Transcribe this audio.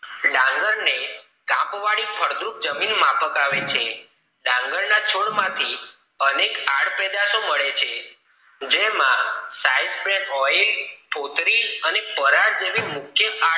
ડાંગર ને કાંપ વાળી ફળદ્રુપ જમીન માફક આવે છે ડાંગરના છોડમાંથી અનેક આડ પેદાશો મળે છે જેમા side pack oil ફોતળી અને ફોરડ જેવી મુખ્ય આડ